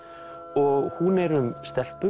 og hún er um